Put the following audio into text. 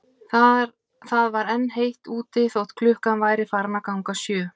Það var enn heitt úti þótt klukkan væri farin að ganga sjö.